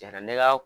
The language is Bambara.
Jara ne ka